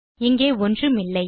இங்கே ஒன்றுமில்லை